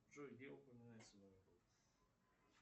джой где упоминается